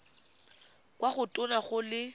kwa go tona go le